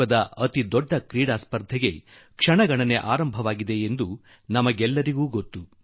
ವಿಶ್ವದ ಅತಿ ದೊಡ್ಡ ಕ್ರೀಡಾ ಮಹೋತ್ಸವ ಇನ್ನು ಕೆಲವೇ ದಿನಗಳಲ್ಲಿ ನಡೆಯುವುದು ನಮಗೆಲ್ಲಾ ತಿಳಿದಿದೆ